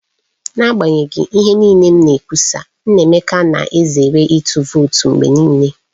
N'agbanyeghị ihe niile m na-ekwusa, Nnaemeka na-ezere ịtụ vootu mgbe niile.